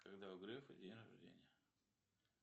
когда у грефа день рождения